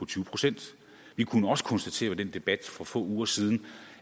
tyve procent vi kunne også konstatere i den debat for få uger siden